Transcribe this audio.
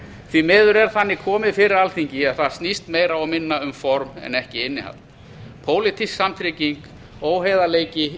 því miður er þannig komið fyrir alþingi að það snýst meira og minna um form en ekki innihald pólitísk samtrygging óheiðarleiki